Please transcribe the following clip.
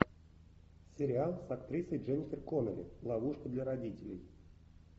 сериал с актрисой дженнифер коннелли ловушка для родителей